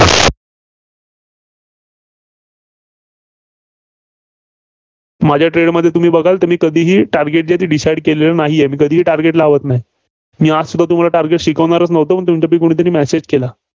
माझ्या trade मध्ये तुम्ही बघाल कधीही target decide केलेलं नाहीये. because मी target लावत नाही. मी आजसुद्धा तुम्हाला target शिकवणारच नव्हतो. पण तुमच्यातील कुणीतरी message केला.